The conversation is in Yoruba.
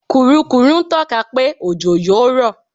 Kùrukùru ń tọ́ka pé òjò yó rọ̀.